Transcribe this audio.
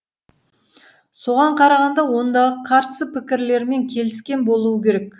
соған қарағанда ондағы қарсы пікірлермен келіскен болуы керек